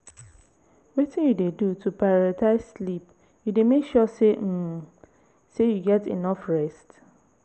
wetin you dey do to prioritze sleep you dey make sure um say you get enough rest?